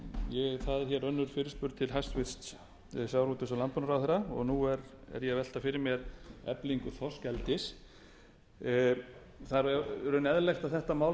önnur fyrirspurn til hæstvirts sjávarútvegs og landbúnaðarráðherra og nú er ég að velta fyrir mér eflingu þorskeldis það er í raun eðlilegt að þetta mál